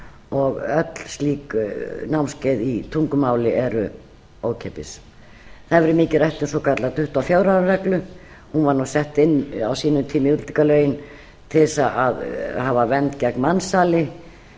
og öll slík námskeið í tungumáli eru ókeypis það hefur verið mikið rætt um svokallaða tuttugu og fjögur á ára reglu hún var nú sett inn á sínum tíma í útlendingalögin til þess að hafa vernd gegn mansali